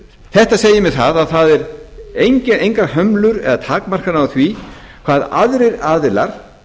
þetta segir mér það að það eru engar hömlur eða takmarkanir á því hvað aðrir aðilar